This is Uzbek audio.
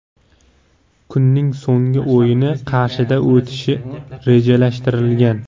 Kunning so‘nggi o‘yini Qarshida o‘tishi rejalashtirilgan.